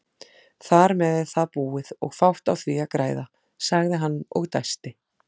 Þarmeð er það búið og fátt á því að græða, sagði hann og dæsti.